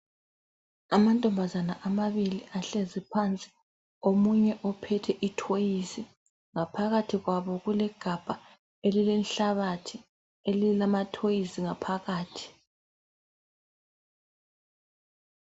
Amantombazane amabili ahlezi phansi omunye uphethe ithoyizi ngaphakathi kwabo kulegabha elilenhlabathi elilama thoyizi ngaphakathi.